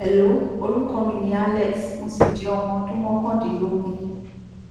hello orúkọ mi ni alex mo sì jẹ ọmọ ọdún mọkàndínlógún